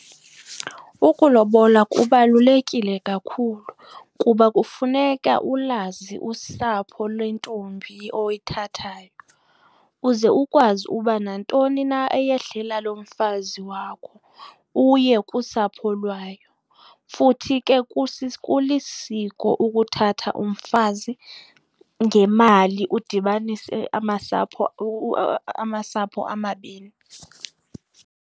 Ukulobola kubalulekile kakhulu kuba kufuneka ulazi usapho lwentombi oyithathayo. Uze ukwazi uba nantoni na eyehlela lo mfazi wakho uye kusapho lwayo. Futhi ke kulisiko ukuthatha umfazi ngemali udibanise amasapho amasapho amabini.